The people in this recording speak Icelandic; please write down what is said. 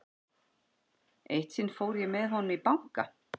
Eitt sinn fór ég með honum í banka.